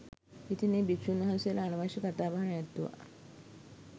ඉතින් ඒ භික්ෂූන් වහන්සේලා අනවශ්‍ය කතා බහ නැවැත්තුවා